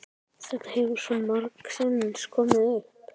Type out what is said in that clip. Þetta hefur svo margsinnis komið upp.